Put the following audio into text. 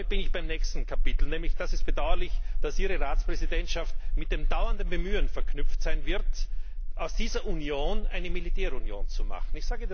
Damit bin ich beim nächsten Kapitel Es ist bedauerlich, dass Ihre Ratspräsidentschaft mit dem dauernden Bemühen verknüpft sein wird, aus dieser Union eine Militärunion zu machen.